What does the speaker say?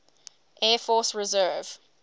air force reserve